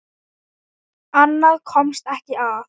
Annað komst ekki að!